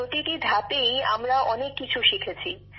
প্রতিটি ধাপেই আমরা অনেক কিছু শিখেছি